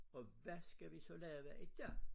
Og hvad skal vi så lave i dag?